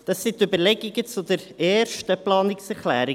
Das sind die Überlegungen zur ersten Planungserklärung.